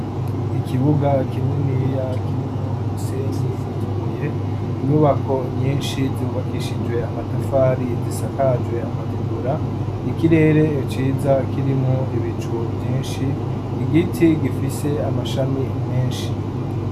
Ikibuga kininiya kirimwo umusenyi n'utubuye, inyubako nyinshi zubakishijwe amatafari gisakajwe amategura, ikirere ciza kirimwo ibicu vyinshi, igiti gifise amashami menshi.